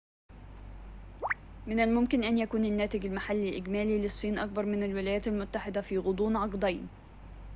من الممكن أن يكون الناتج المحلي الإجمالي للصين أكبر من الولايات المتحدة في غضون عقدين